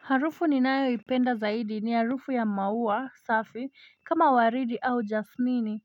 Harufu ninayo ipenda zaidi ni harufu ya mauwa safi kama waridi au jasmini